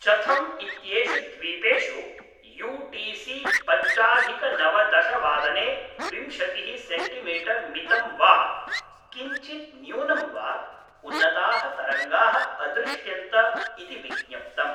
चथम् इत्येषु द्वीपेषु U T C पञ्चाधिकनवदशवादने विंशतिः सेन्टिमीटर् मितं वा किञ्चित् न्यूनं वा उन्नताः तरङ्गाः अदृश्यन्त इति विज्ञप्तम्।